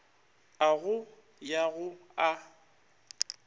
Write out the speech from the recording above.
a go ya go a